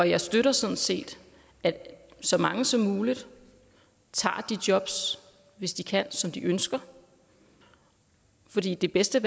jeg støtter sådan set at så mange som muligt tager de jobs hvis de kan som de ønsker fordi det bedste